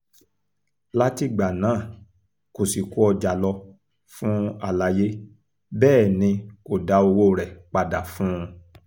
látìgbà náà ni kò sì kó ọjà lọ fún aláàyè bẹ́ẹ̀ ni kò dá owó rẹ̀ padà fún un